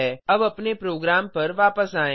अब अपने प्रोग्राम पर वापस आएँ